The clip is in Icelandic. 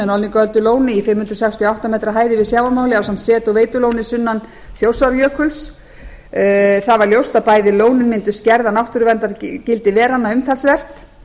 norðlingaöldulóni í fimm hundruð sextíu og átta metra hæð yfir sjávarmáli ásamt set og veitulóni sunnan þjórsárjökuls það var ljóst að bæði lónin mundu skerða náttúruverndargildi veranna umtalsvert